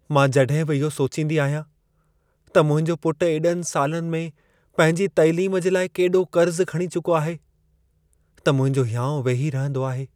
मां जॾहिं बि इहो सोचींदी आहियां त मुंहिंजो पुटु एॾनि सालनि में पंहिंजी तैलीम जे लाइ केॾो कर्ज़ खणी चुको आहे, त मुंहिंजो हियाउं वेही रहंदो आहे।